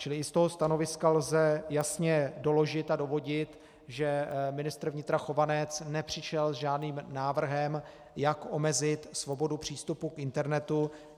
Čili i z toho stanoviska lze jasně doložit a dovodit, že ministr vnitra Chovanec nepřišel s žádným návrhem, jak omezit svobodu přístupu k internetu.